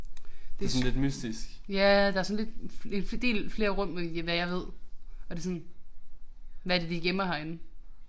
Det. Ja der er sådan lidt en del flere rum end hvad jeg ved og det sådan hvad er det de gemmer herinde?